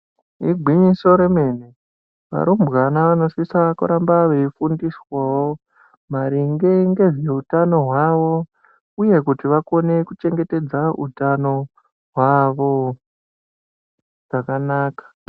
Igwinyiso re mene varumbwana vano sisa kuramba vei veifundiswawo maringe ngezve utano hwawo uye kuti vakone ku chengetedze utanho hwawo zvakanaka.